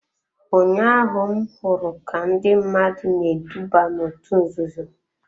Ụnyaahụ m hụrụ ka ndị mmadụ na-eduba n'òtù nzuzo.